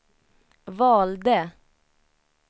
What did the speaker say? valde